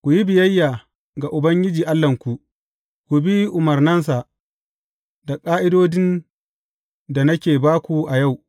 Ku yi biyayya ga Ubangiji Allahnku, ku bi umarnansa da ƙa’idodin da nake ba ku a yau.